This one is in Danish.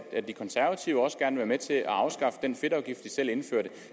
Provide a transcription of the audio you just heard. at de konservative også gerne vil være med til at afskaffe den fedtafgift de selv indførte